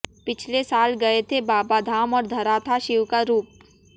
पिछले साल गए थे बाबाधाम और धरा था शिव का रूप